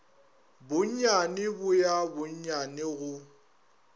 bonnyane bo ya bonnyane go